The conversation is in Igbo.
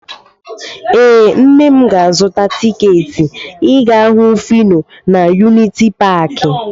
Ee, nna m ga-azụta tiketi ịga hụ Fino na yuniti paakị.